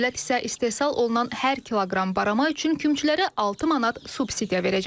Dövlət isə istehsal olunan hər kiloqram barama üçün kümçülərə 6 manat subsidiya verəcək.